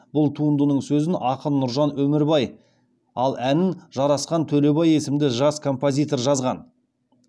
бұл туындының сөзін ақын нұржан өмірбай ал әнін жарасхан төлебай есімді жас композитор жазған